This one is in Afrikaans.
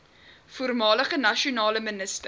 voormalige nasionale minister